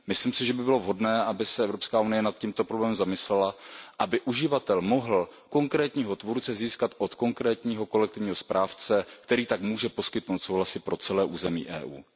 Myslím si, že by bylo vhodné, aby se Evropská unie nad tímto problémem zamyslela, aby uživatel mohl získat souhlas konkrétního tvůrce od konkrétního kolektivního správce, který tak může poskytnout souhlas i pro celé území EU.